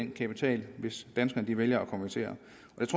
kapital hvis danskerne vælger at konvertere